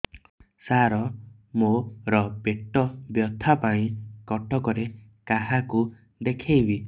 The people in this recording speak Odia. ସାର ମୋ ର ପେଟ ବ୍ୟଥା ପାଇଁ କଟକରେ କାହାକୁ ଦେଖେଇବି